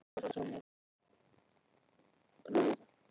Það er eitthvað að brjótast í honum sem hann kann enga skýringu á.